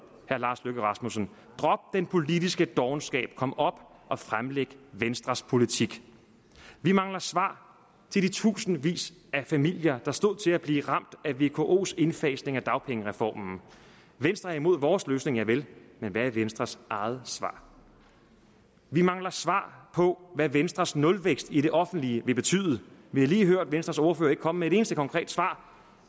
herre lars løkke rasmussen drop den politiske dovenskab kom op og fremlæg venstres politik vi mangler svar til de tusindvis af familier der stod til at blive ramt af vkos indfasning af dagpengereformen venstre er imod vores løsning javel men hvad er venstres eget svar vi mangler svar på hvad venstres nulvækst i det offentlige vil betyde vi har lige hørt at venstres ordfører ikke kom med et eneste konkret svar